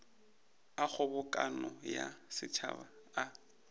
a kgobokano ya setšhaba a